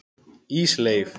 Ísleif